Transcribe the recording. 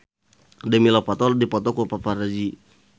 Demi Lovato dipoto ku paparazi